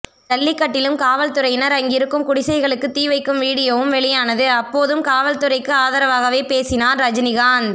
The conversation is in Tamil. ஜல்லிக்கட்டிலும் காவல்துறையினர் அங்கிருக்கும் குடிசைகளுக்கு தீவைக்கும் வீடியோவும் வெளியானது அப்போதும் காவல்துறைக்கு ஆதரவாகவே பேசினார் ரஜினிகாந்த்